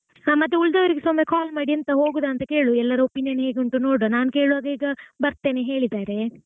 ಹಾ ಮತ್ತೆ ಉಳಿದವರಿಗೆಸಾ ಒಮ್ಮೆ call ಮಾಡಿ ಹೋಗುದಾ ಅಂತ ಕೇಳು ಎಲ್ಲಾರ್ opinion ಕೇಳು? ಹೇಗುಂಟು ನೋಡುವಾ ನನ್ ಕೇಳುವಾಗ ಈಗ ಬರ್ತೇನೆ ಹೇಳಿದ್ದಾರೆ.